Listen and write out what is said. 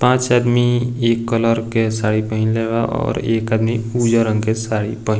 पाँच आदमी एक कलर के साड़ी पहिनले बा और एक आदमी उजर रंग के साड़ी पहिन --